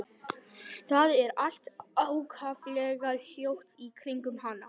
Það er allt ákaflega hljótt í kringum hana.